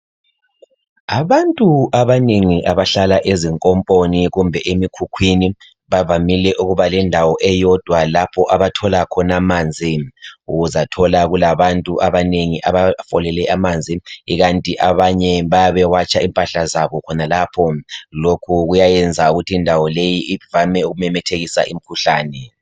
Abantu abanengi abahlala ezinkomponi kumbe emikhukhwini bavamile ukuba lendawo eyodwa lapho abathola khona amanzi , uzamthola kulabantu abanengi abafolele amanzi ikanti abanye bayabe watsha khonalapho , lokhu kuyayenza indawo leyi ivame ukumemethekisa imikhuhlane